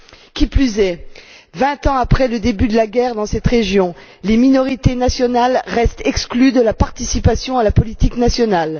Qui plus est, vingt ans après le début de la guerre dans cette région, les minorités nationales restent exclues de toute participation à la politique nationale.